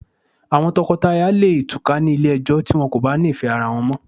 Àwon lọ̀kọ láya leè túká ni Ilé ẹjọ́ ti wọ́n ko bá ni ìfẹ́ ara wọ́n mọ́